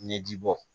Ɲɛji bɔ